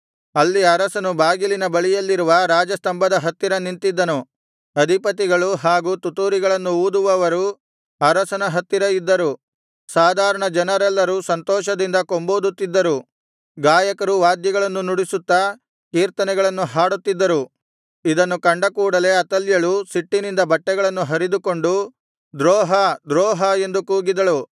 ಅಲ್ಲಿ ಅರಸನು ಬಾಗಿಲಿನ ಬಳಿಯಲ್ಲಿರುವ ರಾಜಸ್ತಂಭದ ಹತ್ತಿರ ನಿಂತಿದ್ದನು ಅಧಿಪತಿಗಳು ಹಾಗೂ ತುತ್ತೂರಿಗಳನ್ನು ಊದುವವರೂ ಅರಸನ ಹತ್ತಿರ ಇದ್ದರು ಸಾಧಾರಣ ಜನರೆಲ್ಲರೂ ಸಂತೋಷದಿಂದ ಕೊಂಬೂದುತ್ತಿದ್ದರು ಗಾಯಕರು ವಾದ್ಯಗಳನ್ನು ನುಡಿಸುತ್ತಾ ಕೀರ್ತನೆಗಳನ್ನು ಹಾಡುತ್ತಿದ್ದರು ಇದನ್ನು ಕಂಡಕೂಡಲೆ ಅತಲ್ಯಳು ಸಿಟ್ಟಿನಿಂದ ಬಟ್ಟೆಗಳನ್ನು ಹರಿದುಕೊಂಡು ದ್ರೋಹ ದ್ರೋಹ ಎಂದು ಕೂಗಿದಳು